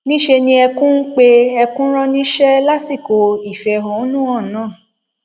níṣẹ ni ẹkún ń pe ẹkún rán níṣẹ lásìkò ìfẹhónú hàn náà